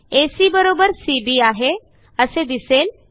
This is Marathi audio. एसी सीबी आहे असे दिसेल